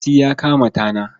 Mati ya kama tana.